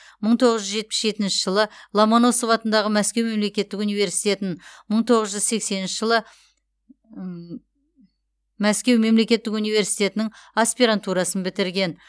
мың тоғыз жүз жетпіс жетінші жылы ломоносов атындағы мәскеу мемлекеттік университетін мың тоғыз жүз сексенінші жылы мәскеу мемлекеттік университетінің аспирантурасын бітірген